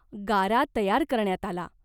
गारा तयार करण्यात आला.